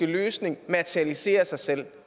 løsning materialiserer sig selv